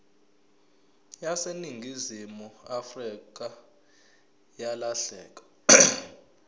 yaseningizimu afrika yalahleka